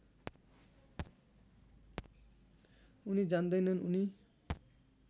उनी जान्दैनन् उनी